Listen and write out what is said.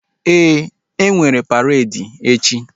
Ee, enwere paredi echi